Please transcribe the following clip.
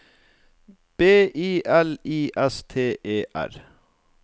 B I L I S T E R